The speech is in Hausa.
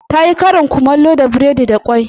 Ta yi karin kumallo da burodi da kwai.